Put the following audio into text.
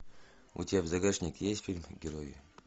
у тебя в загашнике есть фильм герои